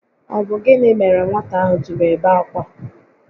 Ọ bụ gịnị mere nwata ahụ jiri ebe akwa?